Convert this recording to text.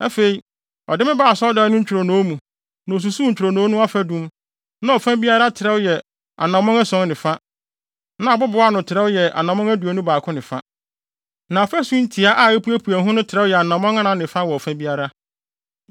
Afei ɔde me baa asɔredan no ntwironoo mu, na osusuw ntwironoo no afadum, na ɔfa biara trɛw yɛ anammɔn ason ne fa. Na abobow ano no trɛw yɛ anammɔn aduonu baako ne fa. Na afasu ntiaa a epuepue ho no trɛw yɛ anammɔn anan ne fa wɔ ɔfa biara.